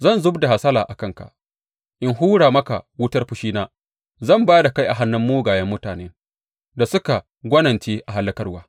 Zan zub da hasalata a kanka in hura maka wutar fushina; Zan ba da kai a hannun mugayen mutanen da suka gwanince a hallakarwa.